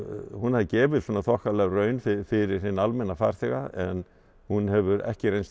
hún hafi gefið þokkalega raun fyrir hinn almenna farþega en hún hefur ekki reynst